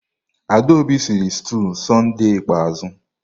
Adaobi sịrị stuụ Sọnde ikpeazụ.